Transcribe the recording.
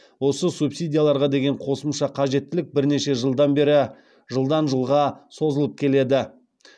осы субсидияларға деген қосымша қажеттілік бірнеше жылдан бері жылдан жылға созылып келеді